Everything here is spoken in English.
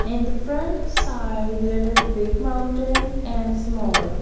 in the front side there is big mountains and small --